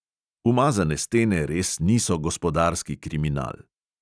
Umazane stene res niso gospodarski kriminal.